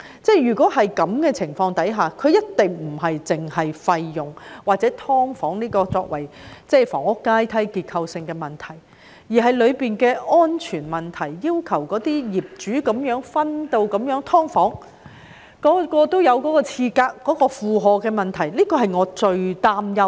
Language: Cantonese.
在這種情況下，它一定不僅關乎費用或把"劏房"作為房屋階梯所存在的結構性問題，當中亦有安全問題，例如業主這樣分隔出"劏房"，令每個單位也設有廁格所帶來的負荷問題，這便是我最擔憂的事情。